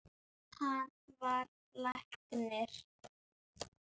Jú, þetta er indælt